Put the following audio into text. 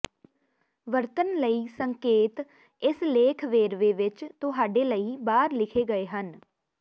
ਵਰਤਣ ਲਈ ਸੰਕੇਤ ਇਸ ਲੇਖ ਵੇਰਵੇ ਵਿੱਚ ਤੁਹਾਡੇ ਲਈ ਬਾਹਰ ਲਿਖੇ ਗਏ ਹਨ